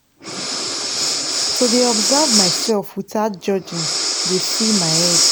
to dey observe myself wothout judging dey free my head